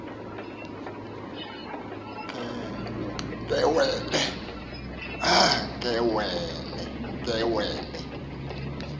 kewele